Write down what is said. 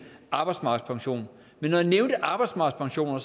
arbejdsmarkedspension men når jeg nævnte arbejdsmarkedspensioner var